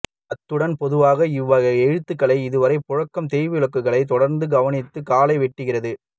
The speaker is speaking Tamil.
அத்துடன் பொதுவாக இவ்வகை எழுத்துக்களில் இன்றுவரை புழங்கும் தேய்வழக்குகளை தொடந்து கவனித்து களையவேண்டியிருக்கிறது